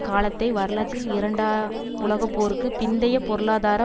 காலத்தை வரலாற்றில் இரண்டாம் உலகப்போருக்கு பிந்தைய பொருளாதார